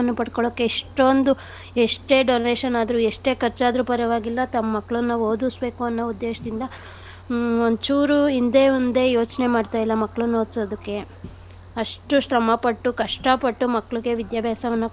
ಪಡ್ಕೊಳಕ್ಕೆ ಎಷ್ಟೊಂದು ಎಷ್ಟೇ donation ಆದ್ರೂ ಎಷ್ಟೇ ಖರ್ಚ್ ಆದ್ರೂ ಪರ್ವಾಗಿಲ್ಲ ತಮ್ ಮಕ್ಳನ್ನ ಓದಿಸ್ಬೇಕು ಅನ್ನೋ ಉದ್ದೇಶ್ ದಿಂದಾ ಹ್ಮ್ ಒಂದ್ ಚೂರು ಹಿಂದೆ ಮುಂದೆ ಯೋಚ್ನೆ ಮಾಡ್ತಾ ಇಲ್ಲ ಮಕ್ಳನ್ ಓದ್ಸೋದಕ್ಕೆ ಅಷ್ಟು ಶ್ರಮ ಪಟ್ಟು ಕಷ್ಟ ಪಟ್ಟು ಮಕ್ಳಿಗೆ ವಿದ್ಯಾಭ್ಯಾಸವನ್ನ.